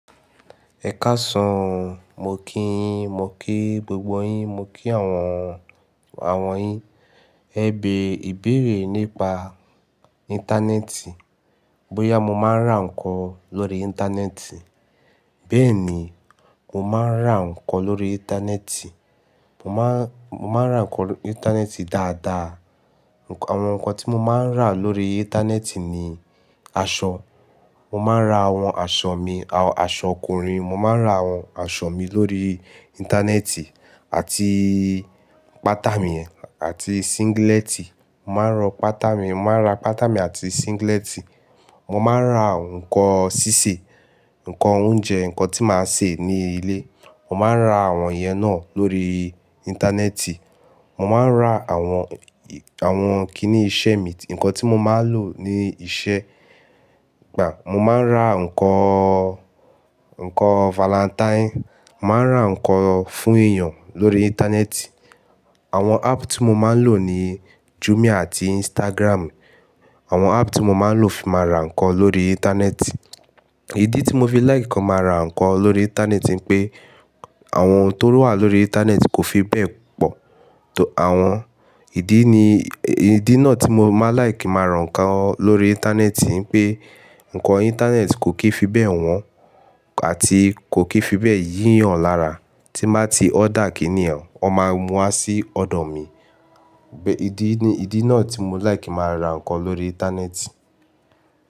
Ẹ káàsán, mo kí íyin, mo ki gbogbo yín, mo kí àwọn, àwọn yín. Ẹ bẹ̀ ìbéèrè nípa Íńtánẹ́ẹ̀tì. Bóyá mo máa ń rà nǹkan lórí Íńtánẹ́ẹ̀tì. Bẹ́ẹ̀ ni, mo máa ń rà nǹkan lórí Íńtánẹ́ẹ̀tì. Mo máa, mo máa ń rà nǹkan lórí Íńtánẹ́ẹ̀tì dáadáa. Àwọn nǹkan tí mo máa ń rà lórí Íńtánẹ́ẹ̀tì ni aṣọ. Mo máa ń ra àwọn aṣọ mi, aṣọ ọkùnrin. Mo máa ń ra àwọn aṣọ mi lórí Íńtánẹ́ẹ̀tì àti pátámì àti síngílẹ́tì. Mo máa ń rọ pátámì, mo máa ń rà pátámì àti síngílẹ́tì. Mo máa ń rà nǹkan sísè, nǹkan oúnjẹ, nǹkan tí màá ṣe ní ilé. Mo máa ń rà àwọn yẹn náà lórí Íńtánẹ́ẹ̀tì. Mo máa ń rà àwọn, àwọn kiní iṣẹ́ mi, nǹkan tí mo máa ń lò ní iṣẹ́. Mo máa ń rà nǹkan, nǹkan valentáìnì. Mo máa ń rà nǹkan fún èèyàn lórí Íńtánẹ́ẹ̀tì. Àwọn áàpù tí mo máa ń lò ní Jùmiá àti ínstágrámù. Àwọn áàpù tí mo máa ń lò fi máa rà nǹkan lórí Íńtánẹ́ẹ̀tì. Ìdí tí mo fi láìkì máa rà nǹkan lórí Íńtánẹ́ẹ̀tì ni pé àwọn ohun tó wà lórí Íńtánẹ́ẹ̀tì kò fi bẹ́ẹ̀ pọ̀. Àwọn ìdí ni, ìdí náà tí mo máa láìkì máa rà nǹkan lórí Íńtánẹ́ẹ̀tì ni pé nǹkan Íńtánẹ́ẹ̀tì kò kí fi bẹ́ẹ̀ wọ́n àti kò kí fi bẹ́ẹ̀ yíyàn lára. Tí mbàá ti order kíni yén, wọ́n máa mú wa sí ọ̀dọ̀ mi. Ìdí ni, ìdí náà tí mo láìkì máa rà nǹkan lórí Íńtánẹ́ẹ̀tì.